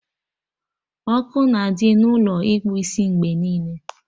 Ọkụ na-adị n'Ụlọ ịkpụ isi mgbe niile